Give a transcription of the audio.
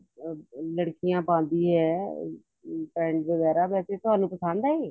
ਲੜਕੀਆਂ ਪਾਉਂਦੀ ਆ pants ਵਗੈਰਾ ਵੈਸੇ ਤੁਹਾਨੂੰ ਇਹ ਪਸੰਦ ਹੈ ਇਹ